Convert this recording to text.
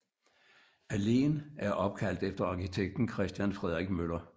Alléen er opkaldt efter arkitekten Christian Frederik Møller